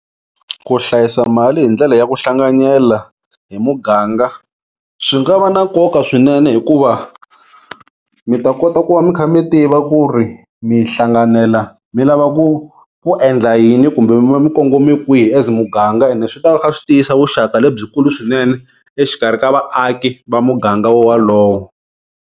Ku hlayisa mali hi ndlela ya ku hlanganyela hi muganga swi nga va na nkoka swinene hikuva mi ta kota ku va mi kha mi tiva ku ri mi hlanganela mi lava ku ku endla yini kumbe mi va mi kongome kwihi as muganga ene swi ta va swi tiyisa vuxaka lebyikulu swinene exikarhi ka vaaki va muganga wo wolowo.